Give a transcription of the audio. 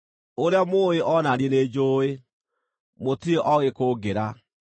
Ũrĩa mũũĩ o na niĩ nĩnjũũĩ; mũtirĩ oogĩ kũngĩra.